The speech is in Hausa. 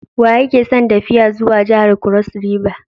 Waye ke son tafiya zuwa jihar kros riva?